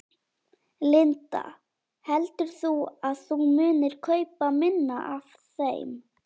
Linda: Heldur þú að þú munir kaupa minna af þeim?